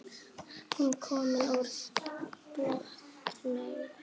Hún var komin úr bolnum.